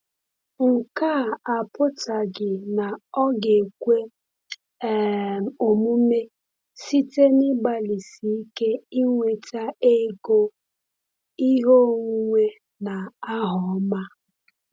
Nke a apụtaghị na ọ ga-ekwe um omume site n’ịgbalịsi ike inweta ego, ihe onwunwe, na aha ọma.